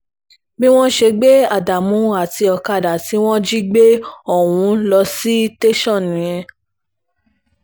bí wọ́n ṣe gbé ádámù àti ọ̀kadà tí wọ́n jí gbé ohùn ló sì tẹ̀sán nìyẹn